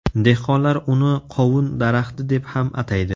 Dehqonlar uni qovun daraxti deb ham ataydi.